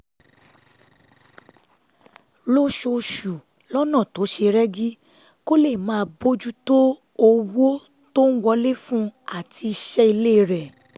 lóṣooṣù lọ́nà tó ṣe rẹ́gí kó lè máa bójú tó owó tó ń wọlé fún un àti iṣẹ́ ilé rẹ̀